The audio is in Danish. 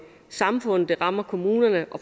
samfundet det rammer kommunerne